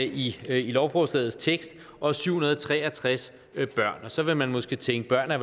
i lovforslagets tekst og syv hundrede og tre og tres børn så vil man måske tænke at